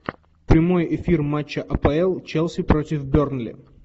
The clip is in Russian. прямой эфир матча апл челси против бернли